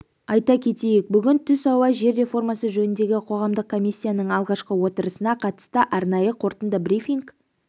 айта кетейік бүгін түс ауа жер реформасы жөніндегі қоғамдық комиссияның алғашқы отырысына қатысты арнайы қорытынды брифинг